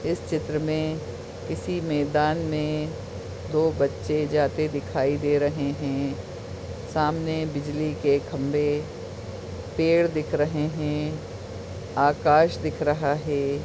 इस चित्र मे किसी मैदान में दो बच्चे जाते दिखाई दे रहे है सामने बिजली के खम्बे पेड़ दिख रहे है आकाश दिख रहा है।